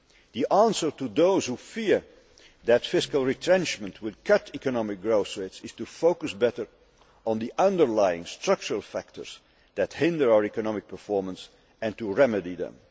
The answer to those who fear that fiscal retrenchment will cut economic growth rates is to focus better on the underlying structural factors that hinder our economic performance and to remedy them.